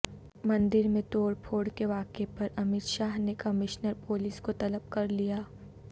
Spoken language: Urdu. مندر میں توڑپھوڑ کے واقعہ پر امیت شاہ نے کمشنر پولیس کو طلب کرلیا